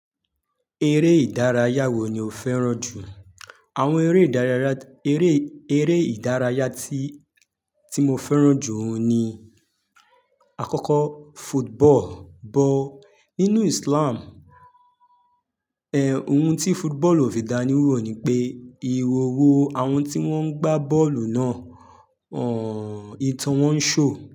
Eré ìdárayá wo ni o fẹ́ràn jù? Àwọn eré ìdárayá, eré, eré ìdárayá tí, tí mo fẹ́ràn jù oun ni àkọ́kọ́ football, bọ́. Nínú Islam, ẹ, ohun tí football ò fi dáni wò ni pé ìhòòhò àwọn tí wọ́n ń gbá bọ́ọ̀lù náà, ọ̀n-ìtàn wọn ń ṣò.